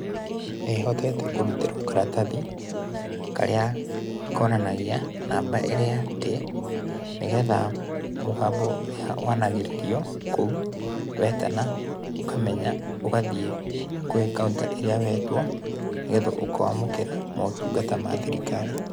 Nĩhotete kũrutĩrwo karatathi, karĩa konanagia namba ĩrĩa ndĩ, nĩgetha mũgambo ũrĩa wanagĩrĩrio kou, wetana, ukamenya, ũgathiĩ gwĩ counter ĩrĩa wetwo nĩgetha ũkamũkĩra motungata ma thirikari.